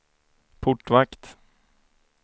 portvakt